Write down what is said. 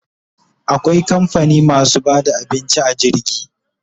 Akwai kamfani masu bada abinci a jirgi